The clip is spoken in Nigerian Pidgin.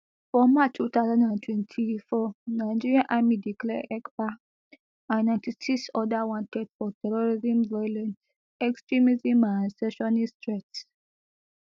for march two thousand and twenty-four nigerian army declare ekpa and ninety-six oda wanted for terrorism violent extremism and secessionist threats